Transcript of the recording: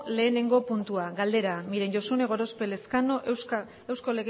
lehenengo puntua galdera miren josune gorospe elezkano